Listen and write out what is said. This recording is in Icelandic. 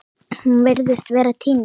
Hún virtist vera týnd